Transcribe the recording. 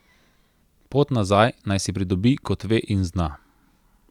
Pot nazaj naj si pridobi, kot ve in zna.